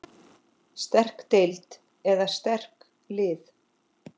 Sterk deild eða sterk lið?